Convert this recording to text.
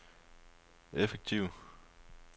effektiv